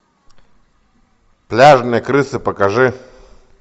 пляжные крысы покажи